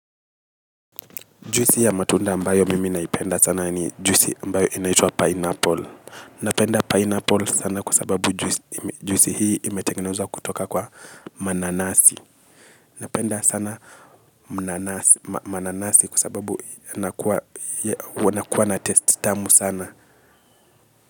Juisi ya matunda ambayo mimi naipenda sana ni juisi ambayo inaitwa pineapple. Napenda pineapple sana kwa sababu juisi hii imetengenezwa kutoka kwa mananasi. Napenda sana mananasi kwa sababu wanakuwa na taste tamu sana.